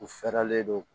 U fɛɛrɛlen don